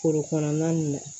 Foro kɔnɔna na